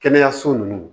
Kɛnɛyaso ninnu